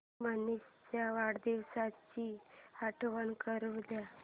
मनीष च्या वाढदिवसाची आठवण करून दे